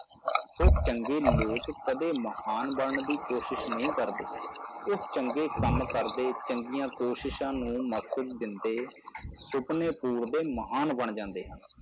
ਸੋ ਚੰਗੇ ਲੋਕ ਕਦੇ ਮਹਾਨ ਬਣਨ ਦੀ ਕੋਸ਼ਿਸ਼ ਨਹੀਂ ਕਰਦੇ, ਉਹ ਚੰਗੇ ਕੰਮ ਕਰਦੇ, ਚੰਗੀਆਂ ਕੋਸ਼ਿਸ਼ਾਂ ਨੂੰ ਮਕਸਦ ਦਿੰਦੇ ਸੁਪਨੇ ਪੂਰਦੇ ਮਹਾਨ ਬਣ ਜਾਂਦੇ ਹਨ।